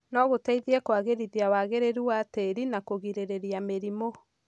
No gũteithie kũagĩrithia wagĩrĩru wa tĩri na kũgirĩrĩria mĩrimũ.